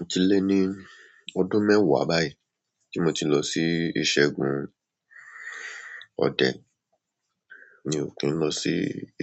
Ó ti lé ní ọdún mẹ́wàá báyìí tí mo ti lọ sí ìṣẹ́gun òde, mi ò kí n lọ sí